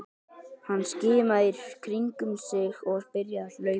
Hann skimaði í kringum sig og byrjaði að hlaupa.